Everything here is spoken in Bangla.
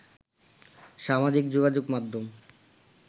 সামাজিক যোগাযোগ মাধ্যমে